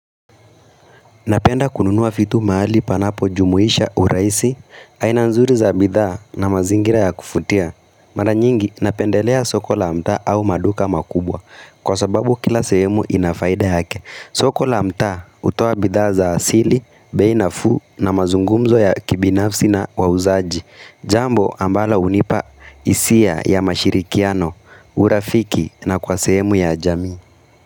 Napenda kununuwa vitu mahali panapo jumuisha urahisi, aina nzuri za bidhaa na mazingira ya kuvutia. Mara nyingi napendelea soko la mtaa au maduka makubwa, kwa sababu kila sehemu inafaida yake. Soko la mtaa hutoa bidhaa za asili, bei nafuu na mazungumzo ya kibinafsi na wauzaji. Jambo ambala hunipa hisia ya mashirikiano, urafiki na kwa sehemu ya jamii.